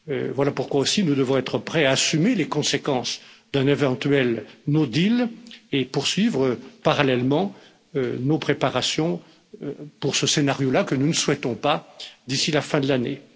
Voilà pourquoi aussi nous devons être prêts à assumer les conséquences d'un éventuel No Deal et poursuivre parallèlement nos préparations pour ce scénario là, que nous ne souhaitons pas, d'ici la fin de l'année.